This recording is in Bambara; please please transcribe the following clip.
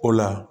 O la